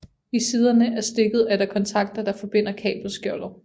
I siderne af stikket er der kontakter der forbinder kabelskjoldet